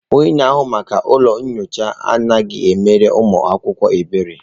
Onye na-ahụ maka ụlọ nyocha anaghị emere ụmụ akwụkwọ ebere.